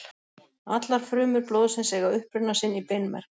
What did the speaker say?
Allar frumur blóðsins eiga uppruna sinn í beinmerg.